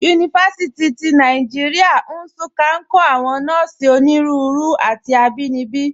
Yunifasiti ti Nàìjíríà, Nsụ́ká, nkọ̀ àwọn nọ́ọ̀sí ọ̀nínúurè àti àbínibí.